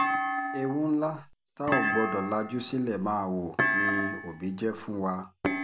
ewu ńlá tá a ò gbọ́dọ̀ lajú sílẹ̀ máa wọ̀ ni òbí jẹ́ fún wa